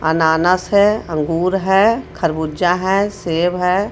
अनानास है अंगूर है खरबूजा है सेब है.